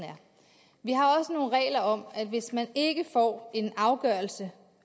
er om at hvis man ikke får en afgørelse